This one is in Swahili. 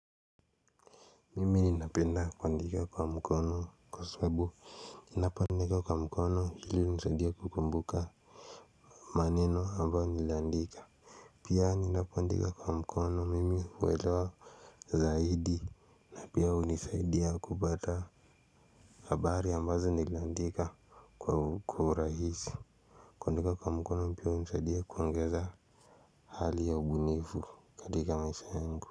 Mimi ninapenda kuandika kwa mkono kwa sababu. Ninapoandika kwa mkono hili hunisaidia kukumbuka. Maneno ambayo nilandika. Pia ninapoandika kwa mkono mimi huelewa zaidi. Pia hunisaidia kupata. Habari ambazo nilandika kwa urahisi. Kuandika kwa mkono pia hunisaidia kuongeza hali ya ubunifu katika maisha yengu.